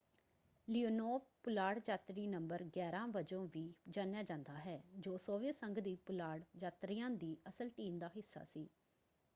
Leonov ਪੁਲਾੜ ਯਾਤਰੀ ਨੰ. 11” ਵਜੋਂ ਵੀ ਜਾਣਿਆ ਜਾਂਦਾ ਹੈ ਜੋ ਸੋਵੀਅਤ ਸੰਘ ਦੀ ਪੁਲਾੜ ਯਾਤਰੀਆਂ ਦੀ ਅਸਲ ਟੀਮ ਦਾ ਹਿੱਸਾ ਸੀ।